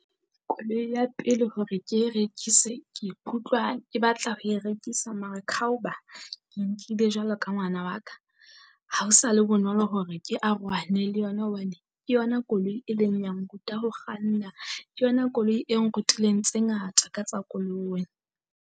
Koloi ya pele hore ke e rekise ke ikutlwa ke batla ho e rekisa mara khaoba, ke nkile jwalo ka ngwana wa ka. Ha o sa le bonolo hore ke arohane le yona hobane, ke yona koloi e leng ya ngrutlwa ho kganna, ke yona koloi e ngrutileng tse ngata ka tsa koloi.